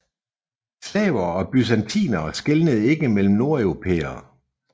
Slavere og bysantinere skelnede ikke mellem nordeuropæere